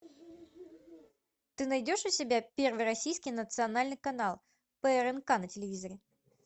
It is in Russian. ты найдешь у себя первый российский национальный канал прнк на телевизоре